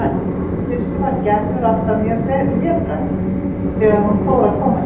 Í fyrstu var Gerður alltaf mjög hlédræg þegar hún fór að koma hér.